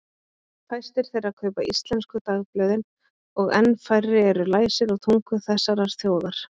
Fæstir þeirra kaupa íslensku dagblöðin og enn færri eru læsir á tungu þessarar þjóðar.